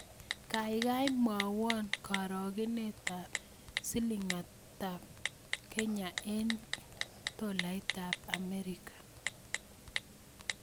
Kaigai mwawon karogenetap silingiitap Kenya eng' tolaitap Amerika